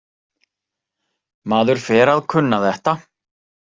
Maður fer að kunna þetta.